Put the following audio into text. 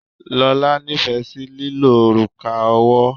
Lola nífẹ̀ẹ́ sí lílo òrùka ọwọ́.